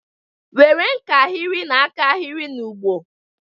Were nkahịrị na-aka ahịrị na ụgbọ!.